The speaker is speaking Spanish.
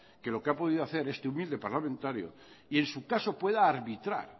que lo que ha podido hacer este humilde parlamentario y en su caso pueda arbitrar